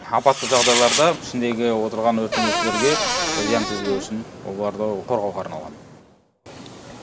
апатты жағыдайларда ішіндегі отырған өрт сөндірушілерге зиян тигізбеу үшін оларды қорғауға арналған